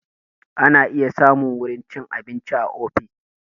Ana iya samun wurin cin abinci a ofis